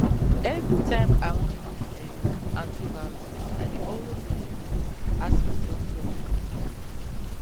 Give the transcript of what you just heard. everytime i wan use um antibiotics i dey always um ask my doctor